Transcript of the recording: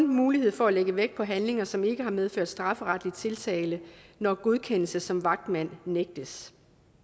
mulighed for at lægge vægt på handlinger som ikke har medført strafferetlig tiltale når godkendelse som vagtmand nægtes